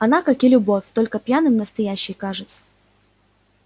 она как и любовь только пьяным настоящей кажется